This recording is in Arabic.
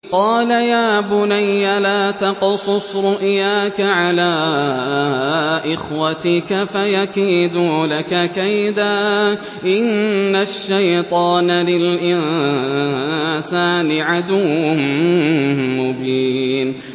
قَالَ يَا بُنَيَّ لَا تَقْصُصْ رُؤْيَاكَ عَلَىٰ إِخْوَتِكَ فَيَكِيدُوا لَكَ كَيْدًا ۖ إِنَّ الشَّيْطَانَ لِلْإِنسَانِ عَدُوٌّ مُّبِينٌ